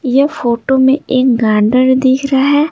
ये फोटो में एक गांधर दिख रहा है।